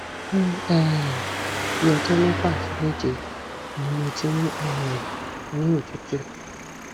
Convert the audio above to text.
fun um bi ọjọ mẹfà sí méje ní mo ti ń um ni otutu